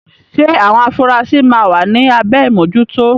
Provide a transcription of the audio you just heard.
Ṣé àwọn afurasí máa wà ní abẹ́ ìmójútó?